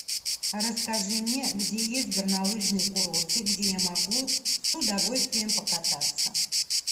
расскажи мне где есть горнолыжные курорты где я могу с удовольствием покататься